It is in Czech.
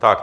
Tak.